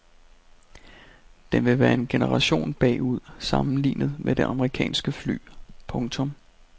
Den vil være en generation bagud sammenlignet med det amerikanske fly. punktum